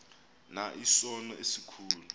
na isono esikhulu